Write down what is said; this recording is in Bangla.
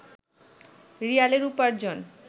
রিয়ালের উপার্জন